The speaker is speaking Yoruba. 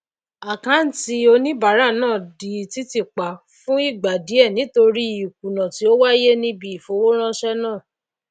àkáàntì oníbàárà náà di títì pa fún ìgbà díè nítorí ìkùnà tí ó wáyé níbi ìfowóránsé náà